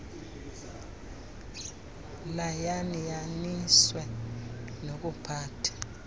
layan yaniswe nokuphatha